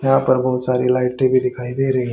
यहां पर बहुत सारी लाइटें भी दिखाई दे रही--